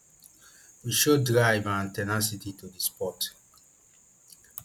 wey show drive and ten acity to di sport